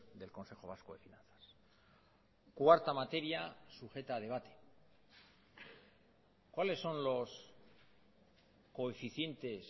del consejo vasco de finanzas cuarta materia sujeta a debate cuáles son los coeficientes